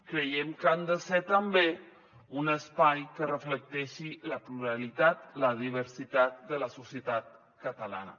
creiem que han de ser també un espai que reflecteixi la pluralitat la diversitat de la societat catalana